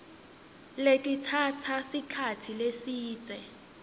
letitsatsa sikhatsi lesidze